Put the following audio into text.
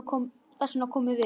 Þess vegna komum við.